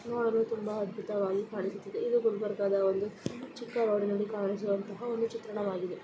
ಅದು ಅದ್ಭುತವಾಗಿ ಕಾಣಿಸುತ್ತಿದೆ ಇಲ್ಲಿ ಗುಲ್ಬರ್ಗಾದ್ ಒಂದು ಚಿಕ್ಕ ವಾರಡಿನಲಿ ಕಾಣಿಸುವಂತಹ ಒಂದು ಚಿತ್ರಣವಾಗಿದೆ---